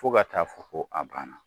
Fo ka taa fɔ ko a banna.